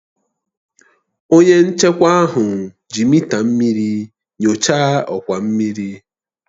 Onye nchekwa ahụ ji mịta mmiri nyochaa ọkwa mmiri